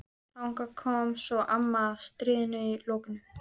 Þangað kom svo amma að stríðinu loknu.